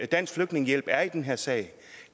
dansk flygtningehjælp er i den her sag